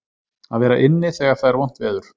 Að vera inni þegar það er vont veður.